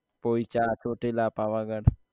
Poicha Chotila Pavagadh